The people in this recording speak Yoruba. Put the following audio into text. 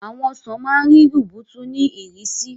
Àwọn ọsàn máa ń rí rubutu ní ìrísí.